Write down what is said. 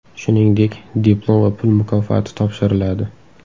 Shuningdek, diplom va pul mukofoti topshiriladi.